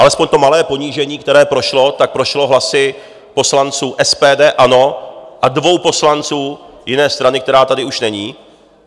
Alespoň to malé ponížení, které prošlo, tak prošlo hlasy poslanců SPD, ANO a dvou poslanců jiné strany, která tady už není.